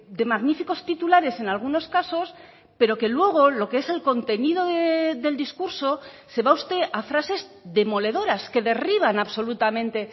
de magníficos titulares en algunos casos pero que luego lo que es el contenido del discurso se va usted a frases demoledoras que derriban absolutamente